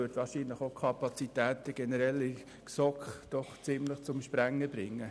Es würde die Kapazitäten der GSoK wohl auch generell übersteigen.